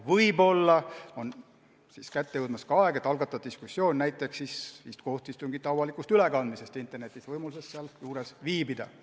Võib-olla on kätte jõudmas aeg, et algatada diskussioon näiteks kohtuistungite avalikust ülekandmisest internetis, võimalusest seal juures viibida.